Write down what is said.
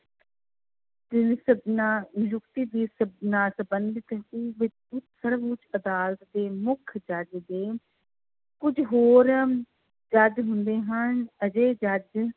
ਨਿਯੁਕਤੀ ਦੀ ਸਰਵਉੱਚ ਅਦਾਲਤ ਦੇ ਮੁੱਖ ਜੱਜ ਦੇ ਕੁੱਝ ਹੋਰ ਜੱਜ ਹੁੰਦੇ ਹਨ ਅਜਿਹੇ ਜੱਜ